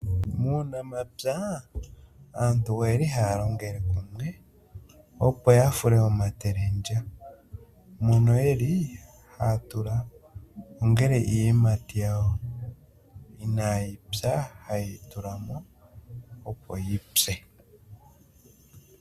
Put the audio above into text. Muunamapya aantu oyeli haya longele kumwe opo ya fule omatelendya mono yeli haya tula ongele iiyimati yawo inayi pya ha yeyi tulamo opo yipye.